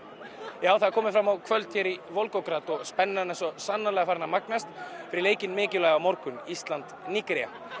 já það er komið fram á kvöld hér í Volgograd og spennan er svo sannarlega farin að magnast fyrir leikinn mikilvæga á morgun Ísland Nígería